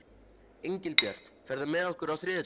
Engilbjört, ferð þú með okkur á þriðjudaginn?